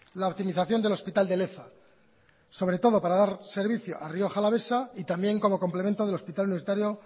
la optimización del hospital de leza sobre todo para dar servicio a rioja alavesa y también como complemento del hospital universitario